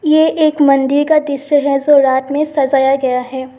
ये एक मंदिर का दृश्य है जो रात में सजाया गया है।